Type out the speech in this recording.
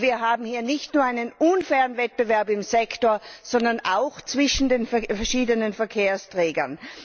Wir haben hier nicht nur einen unfairen Wettbewerb im Sektor, sondern auch zwischen den verschiedenen Verkehrsträgern.